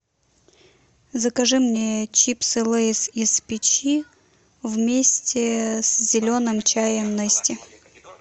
закажи мне чипсы лейс из печи вместе с зеленым чаем нести